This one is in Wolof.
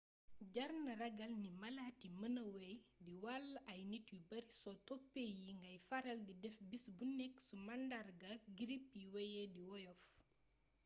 jar na ragal ni malaat yi mêna wey di wàll ay nit yu bari soo toppee yi ngay faral di def bis bu nekk su màndarga girip yi weyee di woyof